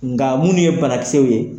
Nka minnu ye banakisɛw ye